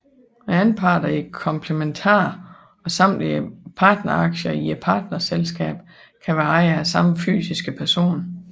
Anparterne i komplementaren og samtlige partneraktier i partnerselskabet kan være ejet af samme fysiske person